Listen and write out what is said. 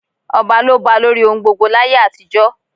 Ọba ló ba lórí ohun gbogbo láyé àtijọ́.